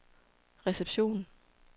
reception